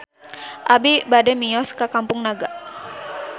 Abi bade mios ka Kampung Naga